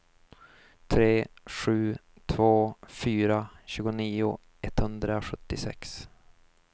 tre sju två fyra tjugonio etthundrasjuttiosex